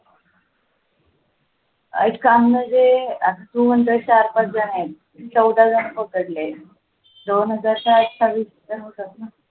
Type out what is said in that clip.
काम म्हणजे आता तू म्हणत चार-पाच जण आहेत चौदा जण पकडले तर दोन हजार